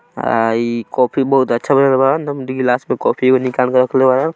अ ई कॉफी बहुत अच्छा ग्लास में कोफ़ी निकाल के खलता।